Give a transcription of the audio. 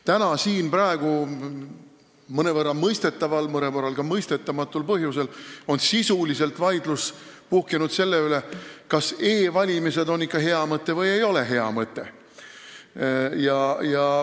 Täna on siin praegu mõnevõrra mõistetaval, mõnevõrra ka mõistetamatul põhjusel vaidlus puhkenud sisuliselt selle üle, kas e-valimine on ikka hea mõte või ei ole.